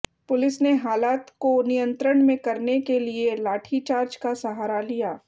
police ने हालात को नियंत्रण में करने के लिए लाठीचार्ज का सहारा लिया